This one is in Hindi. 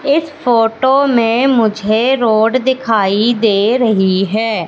इस फोटो में मुझे रोड दिखाइ दे रही है।